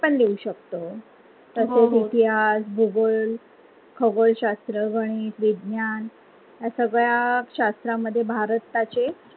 ते पण लिहू शकतो, तसेच इतिहास भूगोल खगोलशास्त्र गणीत विज्ञान या सगळ्या शास्त्रा मध्ये भारताचे